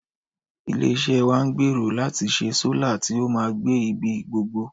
Ilé-iṣẹ́ wa ń gbèrò láti ṣe sólà tí ó máa gbé ibi gbogbo